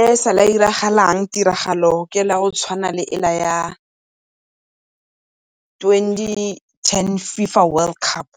E sale ya iragalang tiragalo ke e le ya go tshwana le e le ya twenty-ten FIFA World Cup,